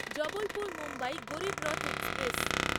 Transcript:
Jabalpur Mumbai Garib Rath express